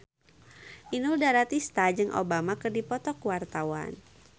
Inul Daratista jeung Obama keur dipoto ku wartawan